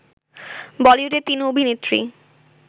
বলিউডের তিন অভিনেত্রী